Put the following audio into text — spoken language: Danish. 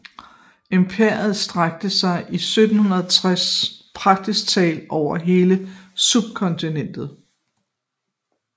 Imperiet strakte sig i 1760 praktisk talt over hele subkontinentet